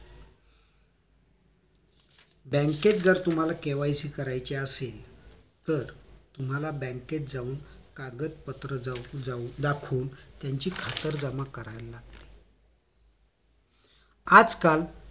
बँकेत जर तुम्हाला KYC करायचे असेल तर तुम्हला बँकेत जाऊन कागदपत्र दाखवून त्यांची खातरजमा करायला लागते आजकाल